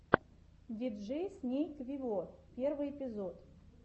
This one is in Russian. диджей снейк вево первый эпизод